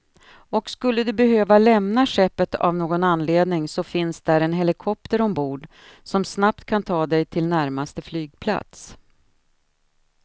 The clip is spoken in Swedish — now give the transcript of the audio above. Och skulle du behöva lämna skeppet av någon anledning så finns där en helikopter ombord, som snabbt kan ta dig till närmsta flygplats.